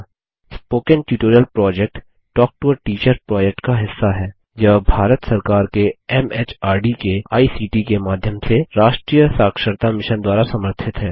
spoken tutorial project talk to a teacher project का हिस्सा हैयह भारत सरकार के एमएचआरडी के आईसीटी के माध्यम से राष्ट्रीय साक्षरता मिशन द्वारा समर्थित है